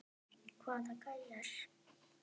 Hvaða gæjar?